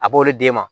A b'olu d'e ma